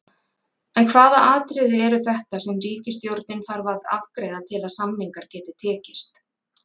En hvaða atriði eru þetta sem ríkisstjórnin þarf að afgreiða til að samningar geti tekist?